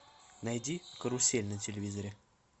найди карусель на телевизоре